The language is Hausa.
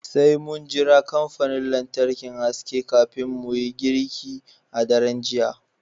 Sai mun jira kamfanin lantarki haske kafin mu yi girki a daren jiya